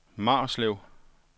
Marslev